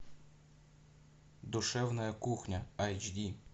душевная кухня эйч ди